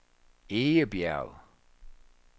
Egebjerg